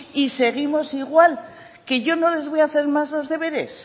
y seguimos igual que yo no les voy a hacer más los deberes